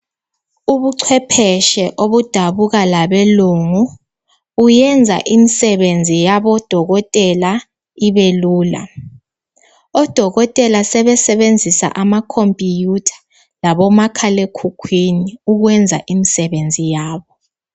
Ubuchwepheshe obudabuka labelungu buyenza imisebenzi yabodokotela ibelula. Odokotela sebesebenzisa amakhompiyutha labomakhalekhukhwini ukwenza imisebenzi yabo.